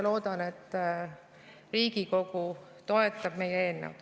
Loodan, et Riigikogu toetab meie eelnõu.